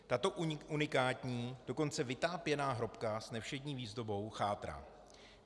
Tato unikátní, dokonce vytápěná hrobka s nevšední výzdobou chátrá.